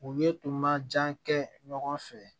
U ye tun ma jan kɛ ɲɔgɔn fɛ